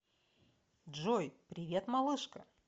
джой привет малышка